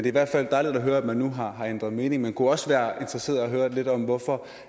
i hvert fald dejligt at høre at man nu har ændret mening det kunne også være interessant at høre lidt om hvorfor